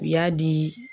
U y'a di